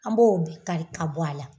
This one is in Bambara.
An b'o bɛɛ kari ka bɔ a la.